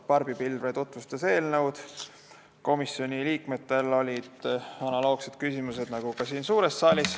Barbi Pilvre tutvustas eelnõu, komisjoni liikmetel olid analoogsed küsimused nagu ka siin.